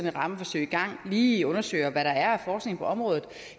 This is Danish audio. et rammeforsøg i gang lige undersøger hvad der er forskning på området